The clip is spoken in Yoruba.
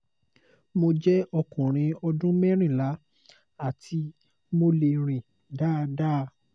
mo jẹ́ ọkùnrin ọdún merinla ati mo le rin dáadáa